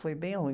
Foi bem ruim.